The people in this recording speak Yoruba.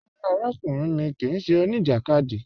Rárá, àràkùnrìn mi kíì ṣẹ́ oníjakádì.